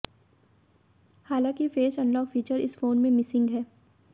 हालांकि face unlock feature इस phone में मिसिंग है